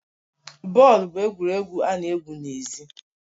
Bọọlụ bụ egwuregwu ana egwu n'ezi